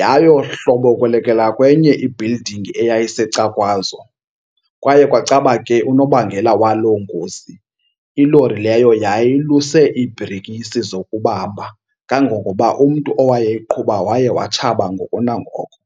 Yayohlobokolekela kwenye i-builiding eyayisecakwazo. Kwaye kwacaba ke unobangela waloo ngozi ilori leyo yayiluse iibhrekisi zokubamba, kangangoba umntu owayeyiqhuba waye watshaba ngoko nangoko.